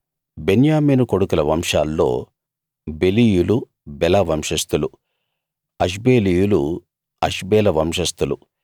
బెన్యామీను కొడుకుల వంశాల్లో బెలీయులు బెల వంశస్థులు అష్బేలీయులు అష్బేల వంశస్థులు